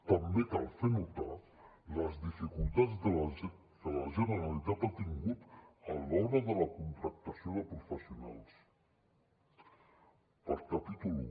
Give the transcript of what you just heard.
també cal fer notar les dificultats que la generalitat ha tingut a l’hora de la contractació de professionals per capítol un